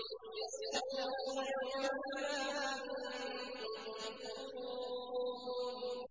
اصْلَوْهَا الْيَوْمَ بِمَا كُنتُمْ تَكْفُرُونَ